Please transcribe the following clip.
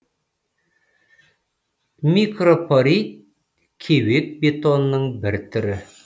микропорит кеуек бетонның бір түрі